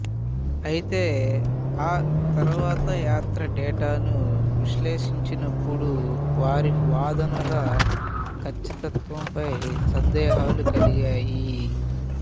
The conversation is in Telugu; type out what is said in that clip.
అయితే ఆ తరువాత యాత్ర డేటాను విశ్లేషించినపుడు వారి వాదనల కచ్చితత్వంపై సందేహాలు కలిగాయి